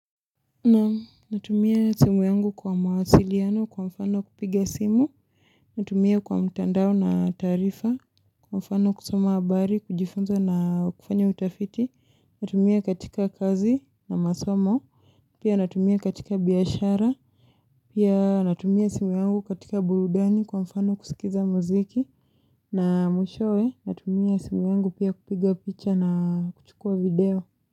Naam natumia simu yangu kwa mawasiliano kwa mfano kupiga simu Natumia kwa mtandao na taarifa Kwa mfano kusoma habari kujifunza na kufanya utafiti Natumia katika kazi na masomo Pia natumia katika biyashara Pia natumia simu yangu katika burudani kwa mfano kusikiza muziki na mwishowe natumia simu yangu pia kupiga picha na kuchukua video.